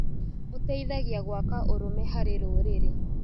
Ũteithagia gwaka ũrũme harĩ rũrĩrĩ.